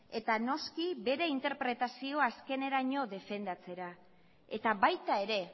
eta noski bere interpretazio azkeneraino defendatzera eta baita ere